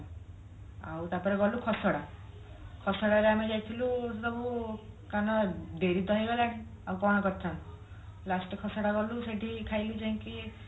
ଆଉ ତାପରେ ଗଲୁ ଖସଡା ଖସଡା ରେ ଆମେ ଯାଇଥିଲୁ କଣ ଡେରି ତ ହେଇ ଗଲାଣି ଆଉ କଣ କରିଥାନ୍ତି last କୁ ଖସଡା ଗଲୁ ସେଠି ଖାଇଲୁ ଯାଇକି